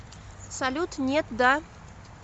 салют нет да